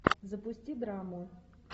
запусти драму